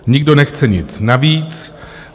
Nikdo nechce nic navíc.